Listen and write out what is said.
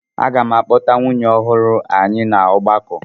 Aga m akpọta nwunye ọhụrụ anyị na ọgbakọ.